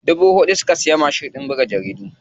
Dubu huɗu suka siya mashin ɗin buga takardu.